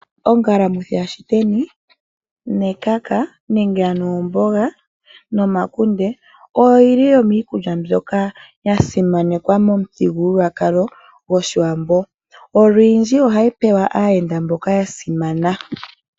Ongalamwithi yaShiteni nekaka nenge ano omboga nomakunde oyo yili yimwe yomiikulya mbyoka ya simanekwa momuthigululwakalo gwOshiwambo. Olwindji ohayi pewa aayenda mboka ya simana.